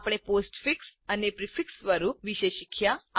આપણે પોસ્ટફિક્સ અને પ્રીફિક્સ સ્વરૂપ વિશે શીખ્યા